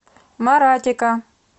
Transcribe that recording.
маратика